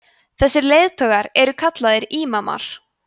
þessir leiðtogar eru kallaðir ímamar